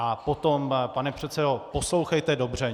A potom, pane předsedo, poslouchejte dobře.